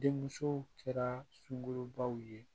Denmusow kɛra sungurubaw ye